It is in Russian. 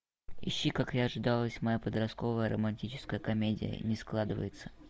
ищи как и ожидалось моя подростковая романтическая комедия не складывается